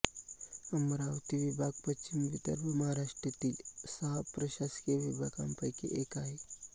अमरावती विभागपश्चिम विदर्भ महाराष्ट्रातील सहा प्रशासकीय विभागांपैकी एक आहे